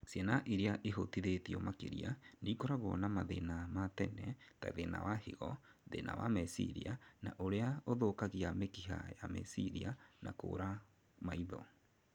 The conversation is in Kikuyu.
Ciana irĩa ihutĩtio makĩria nĩikoragwo na mathina ma tene ta thĩna wa higo, thĩna wa meciria na ũrĩa ũthũkagia mĩkiha ya meciria, na kũra maitho